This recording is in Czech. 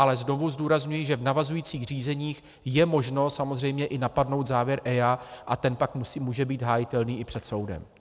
Ale znovu zdůrazňuji, že v navazujících řízeních je možno samozřejmě i napadnout závěr EIA a ten pak může být hájitelný i před soudem.